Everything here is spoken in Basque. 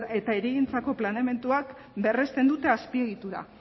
eta hirigintzako planeamenduak berresten dute azpiegitura